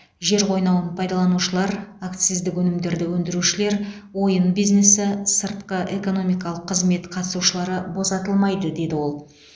жер қойнауын пайдаланушылар акциздік өнімдерді өндірушілер ойын бизнесі сыртқы экономикалық қызмет қатысушылары босатылмайды деді ол